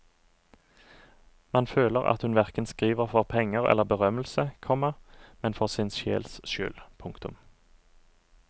Man føler at hun hverken skriver for penger eller berømmelse, komma men for sin sjels skyld. punktum